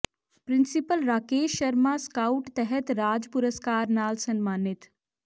principal Rakesh Sharma scout ਤਹਿਤ ਰਾਜ ਪੁਰਸਕਾਰ ਨਾਲ ਸਨਮਾਨਿਤ